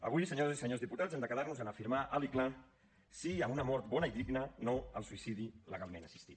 avui senyores i senyors diputats hem de quedar nos en afirmar alt i clar sí a una mort bona i digna no al suïcidi legalment assistit